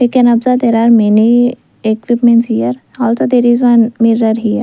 we can observe there are many equipments here also there is one mirror here.